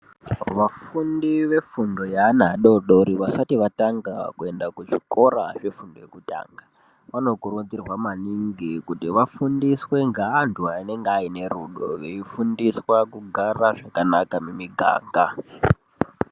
Vafundi vefundo yeana adodori vasati vatanga kuenda kuzvikora zvefundo yekutanga vanokurudzirwa maningi kuti vafundiswe ngeantu anenge ane rudo veifundiswe kugara zvakanaka mimiganga